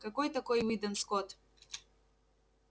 какой такой уидон скотт